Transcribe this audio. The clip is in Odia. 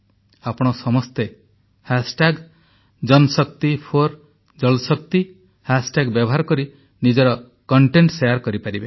ଆପଣ ସମସ୍ତେ JanShakti4JalShakti ହାଷ୍ଟାଗ୍ ହାଶଟ୍ୟାଗ ବ୍ୟବହାର କରି ନିଜର କଂଟେଂଟ୍ ଶେୟାର କରିପାରିବେ